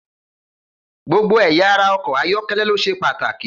Gbogbo ẹ̀ya ara ọkọ̀ ayọ́kẹ́lẹ́ ló ṣe pàtàkì.